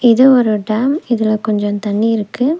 இது ஒரு டேம் இதுல கொஞ்சொ தண்ணி இருக்கு.